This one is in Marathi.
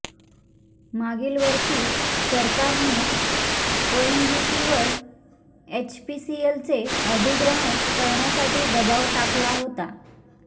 मागील वर्षी सरकारने ओएनजीसीवर एचपीसीएलचे अधिग्रहण करण्यासाठी दबाव टाकला होता